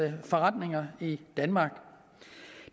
forretninger i danmark